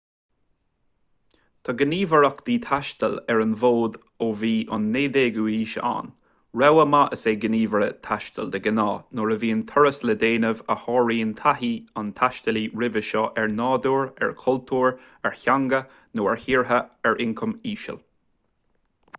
tá gníomhaireachtaí taistil ar an bhfód ó bhí an 19ú haois ann rogha mhaith is ea gníomhaire taistil de ghnáth nuair a bhíonn turas le déanamh a sháraíonn taithí an taistealaí roimhe seo ar nádúr ar chultúr ar theanga nó ar thíortha ar ioncam íseal